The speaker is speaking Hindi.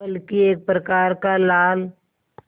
बल्कि एक प्रकार का लाल